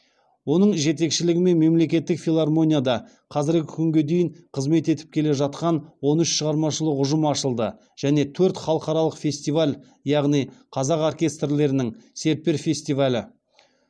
оның жетекшілігімен мемлекеттік филармонияда қазіргі күнге дейін қызмет етіп келе жатқан он үш шығармашылық ұжым ашылды және төрт халықаралық фестиваль яғни қазақ оркестрлерінің серпер фестивалі